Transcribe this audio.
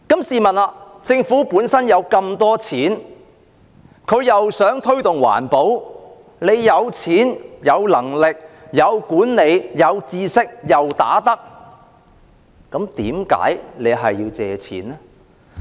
試問政府本身有那麼多錢，想推動環保，既然有錢、有能力、有管理、有知識、又"打得"，為何還要借錢呢？